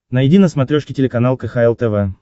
найди на смотрешке телеканал кхл тв